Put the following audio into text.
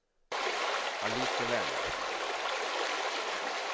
allikevel